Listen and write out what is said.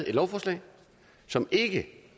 et lovforslag som ikke